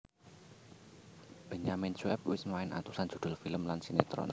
Benyamin Sueb wis main atusan judul film lan sinetron